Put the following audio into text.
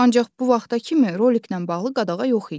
Ancaq bu vaxta kimi roliklə bağlı qadağa yox idi.